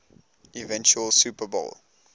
eventual super bowl